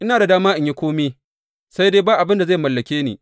Ina da dama in yi kome sai dai ba abin da zai mallake ni.